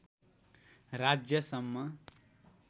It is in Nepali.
राज्य सम्म